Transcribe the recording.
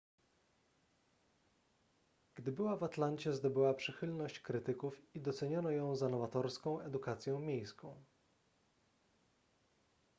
gdy była w atlancie zdobyła przychylność krytyków i doceniono ją za nowatorską edukację miejską